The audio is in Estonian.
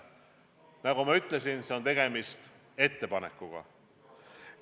Nagu ma ütlesin, on tegemist ettepanekuga.